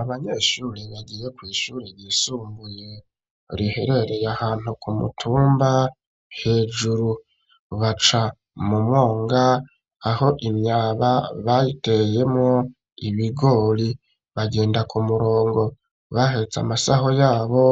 Abanyeshuri bagiye kw' shuri ryisumbuye riherereye ahantu ku mutumba hejuru baca mu mwonga aho imyaba bayiteyemwo ibigori bagenda ku murongo bahetse amasaho yabo